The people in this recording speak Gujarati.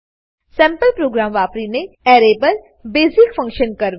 સેમ્પલ પ્રોગ્રામ વાપરીને એરે પર બેજીક ફંક્શન કરવા